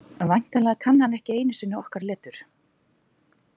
Væntanlega kann hann ekki einu sinni okkar letur.